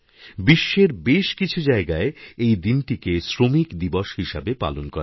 বিশ্বের বেশ কিছু জায়গায় এই দিনটিকে শ্রমিক দিবস হিসেবে পালন করা হয়